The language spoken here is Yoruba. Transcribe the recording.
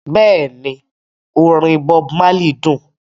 Bẹ́ẹ̀ni orin Bob Marley dún